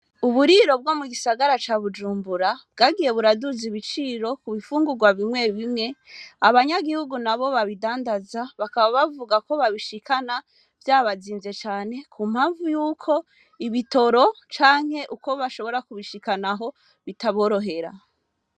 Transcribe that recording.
Uburiro bwo mu gisagara ca Bujumbura bwagiye buraduza ibiciro ku bifungurwa bimwe bimwe, abanyagihugu nabo babidandaza bakaba bavuga ko babishikana vyabazimvye cane ku mpamvu yuko ibitoro canke uko bashobora kubishikanaho bitaborohera.